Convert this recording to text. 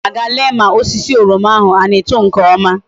A ga m aga lee ma osisi oroma ahu a na eto nke oma